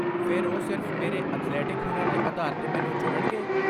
ਫੇਰ, ਓਹ ਸਿਰਫ਼ ਮੇਰੇ ਐਥਲੈਟਿਕ ਹੁਨਰ ਦੇ ਆਧਾਰ ਤੇ ਮੈਨੂੰ ਚੁਣਨਗੇ?